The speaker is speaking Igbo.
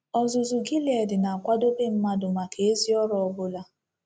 Ọzụzụ Gilead na-akwadobe Mmadụ Maka Ezi Ọrụ Ọbụla